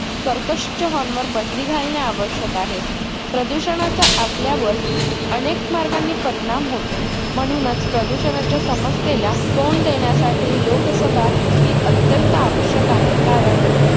कर्कश्य च्या HORN वर बंदी घालणे आवश्यक आहे. प्रदूषणाचा आपल्यावर अनेक मार्गांनी परिणाम होतो. म्हणूनच प्रदूषणाच्या समस्येला तोंड देण्यासाठी लोकसभा ही अत्यंत आवश्यक आहे. कारण